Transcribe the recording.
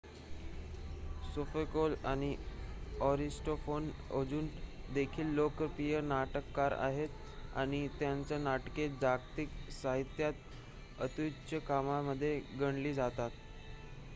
सोफोकल आणि अरिस्टॉपफेन अजून देखील लोकप्रिय नाटककार आहेत आणि त्यांची नाटके जागतिक साहित्यात अत्युच्च कामामध्ये गणली जातात